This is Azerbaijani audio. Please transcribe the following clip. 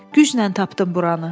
Güclə tapdım buranı.